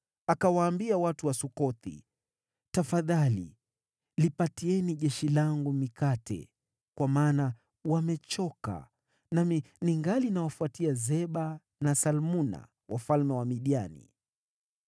Akawaambia watu wa Sukothi, “Tafadhali lipatieni jeshi langu mikate, kwa maana wamechoka, nami ningali ninawafuatia Zeba na Salmuna, wafalme wa Midiani.”